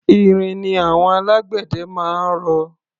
Irin ni àwọn alágbẹ̀dẹ máa ń rọ.